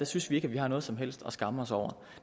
synes vi ikke at vi har noget som helst at skamme os over